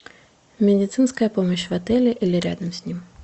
медицинская помощь в отеле или рядом с ним